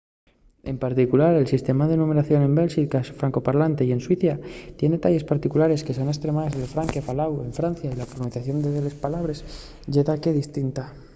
en particular el sistema de numberación en bélxica francofalante y en suiza tien delles particularidaes que son estremaes del francés faláu en francia y la pronunciación de delles pallabres ye daqué distinta